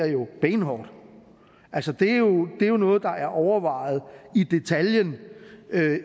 jo benhårdt det er noget der er overvejet i detaljen